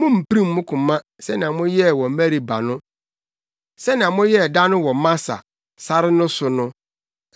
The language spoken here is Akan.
mummpirim mo koma sɛnea moyɛɛ wɔ Meriba no, sɛnea moyɛɛ da no wɔ Masa, sare no so no,